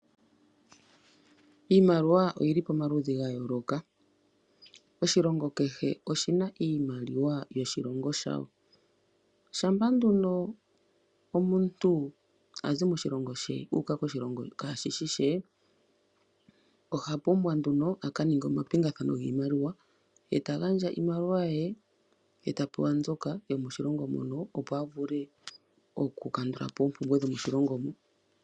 Iimaliwa oyi li pomaludhi ga yooloka. Oshilongo kehe oshi na iimaliwa yoshilongo shayo. Shampa nduno omuntu a zi moshilongo she u uka koshilongo kaashi shi she, oha pumbwa nduno a ka ninge omapingathano giimaliwa; ta gandja iimaliwa ye, ye ta pewa yomoshilongo mono opo a vule okukandula po oompumbwe dhomoshilongo mo.